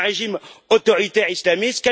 C'est un régime autoritaire islamiste.